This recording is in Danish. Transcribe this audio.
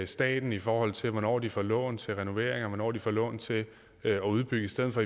staten i forhold til hvornår de får lån til renoveringer og de får lån til at udbygge i stedet for